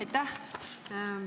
Aitäh!